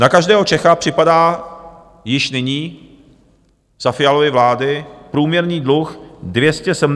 Na každého Čecha připadá již nyní za Fialovy vlády průměrný dluh 275 000 korun.